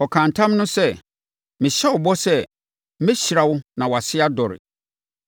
Ɔkaa ntam no sɛ, “Mehyɛ wo bɔ sɛ, mɛhyira wo na mama wʼase adɔre.”